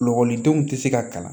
Lakɔlidenw tɛ se ka kalan